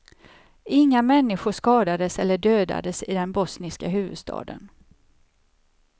Inga människor skadades eller dödades i den bosniska huvudstaden.